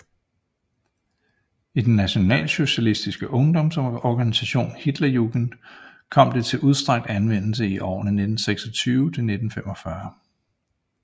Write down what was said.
I den nationalsocialistiske ungdomsorganisation Hitlerjugend kom det til udstrakt anvendelse i årene fra 1926 til 1945